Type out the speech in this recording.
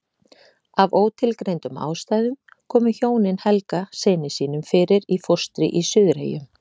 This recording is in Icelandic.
Af ótilgreindum ástæðum komu hjónin Helga syni sínum fyrir í fóstri í Suðureyjum.